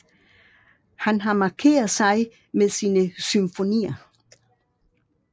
Han har markeret sig med sine symfonier